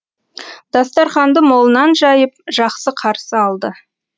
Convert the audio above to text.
дастарханды молынан жайып жақсы қарсы алды